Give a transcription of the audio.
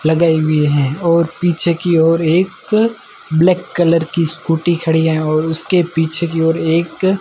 लगे हुए हैं और पीछे की ओर एक ब्लैक कलर की स्कूटी खड़ी है और उसके पीछे की ओर एक--